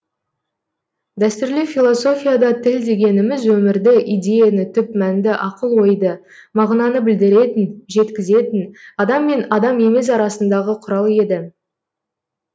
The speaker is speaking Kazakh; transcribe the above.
дәстүрлі философияда тіл дегеніміз өмірді идеяны түп мәнді ақыл ойды мағынаны білдіретін жеткізетін адам мен адам емес арасындағы құрал еді